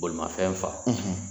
Balimafɛn fa